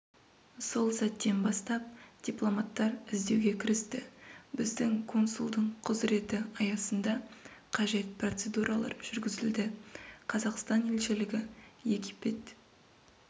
сол сәттен бастап дипломаттар іздеуге кірісті біздің консулдың құзыреті аясында қажет процедуралар жүргізілді қазақстан елшілігі египет